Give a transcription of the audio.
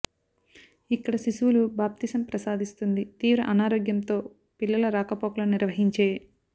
ఇక్కడ శిశువులు బాప్తిసం ప్రసాదిస్తుంది తీవ్ర అనారోగ్యంతో పిల్లలు రాకపోకలు నిర్వహించే